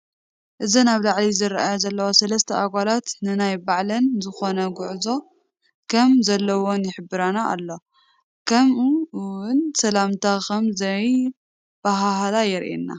እዘን ኣብ ላዓሊ ዝርኣያ ዘለዋ ሰለስተ ኣጓላት ነናይ ባዕለን ዝኾነ ጉዕዞ ከም ዘለዋን ይሕብረና ኣሎ። ከምኡ እውን ሰለምታ ከም ዘይ ባሃሃላ የርኤና።